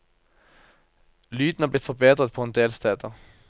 Lyden er blitt forbedret på en del steder.